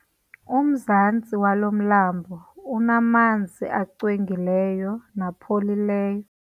Umzantsi walo mlambo unamanzi angcwengileyo napholileyo.